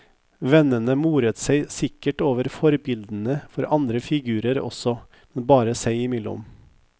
Vennene moret seg sikkert over forbildene for andre figurer også, men bare seg imellom.